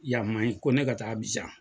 Yan man ɲi ko ne ka taa Absian.